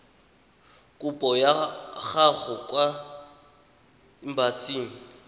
kopo ya gago kwa embasing